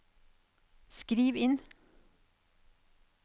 skriv inn